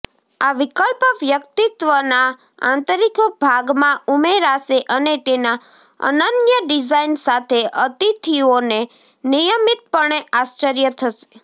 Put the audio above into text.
આ વિકલ્પ વ્યક્તિત્વના આંતરિક ભાગમાં ઉમેરાશે અને તેના અનન્ય ડિઝાઇન સાથે અતિથિઓને નિયમિતપણે આશ્ચર્ય થશે